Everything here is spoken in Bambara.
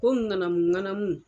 Ko ŋanamu ŋanamu